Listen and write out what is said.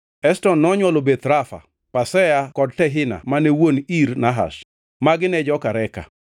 Eshton nonywolo Beth Rafa, Pasea kod Tehina mane wuon Ir Nahash. Magi ne jo-Reka.